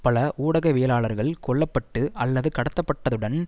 பல ஊடகவியலாளர்கள் கொல்ல பட்டு அல்லது கடத்தப்பட்டதுடன்